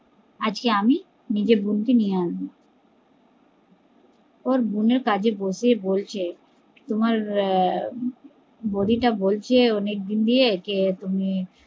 আজকে আমি নিজের বোনকে নিয়ে আসবো ও বোনের কাছে বসে বলছে তোমার বৌদি টা বলছে অনেক দিন দিয়ে কে তুমি